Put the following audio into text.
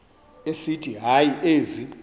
esithi hayi ezi